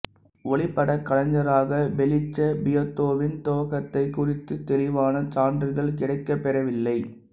ஒளிப்படக் கலைஞராக பெலீச்ச பியாத்தோவின் துவக்கத்தைக் குறித்து தெளிவான சான்றுகள் கிடைக்கப்பெறவில்லை